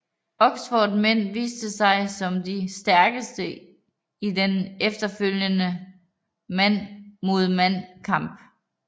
Oxfords mænd viste sig som de stærkeste i den efterfølgende mand mod mand kamp